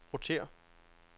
rotér